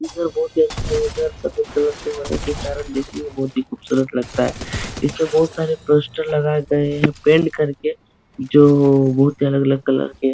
यह घर बहुत ही अच्छा हैं। यह घर सफ़ेद कलर के कारण देखने में बहुत ही खूबसूरत लगता है। इसमें बहुत सारे पोस्टर लगाये गये हैं पेंट करके जो बहुत ही अलग अलग कलर के --